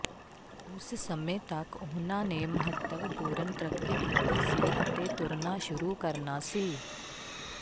ਉਸ ਸਮੇਂ ਤੱਕ ਉਨ੍ਹਾਂ ਨੇ ਮਹੱਤਵਪੂਰਨ ਤਰੱਕੀ ਕੀਤੀ ਸੀ ਅਤੇ ਤੁਰਨਾ ਸ਼ੁਰੂ ਕਰਨਾ ਸੀ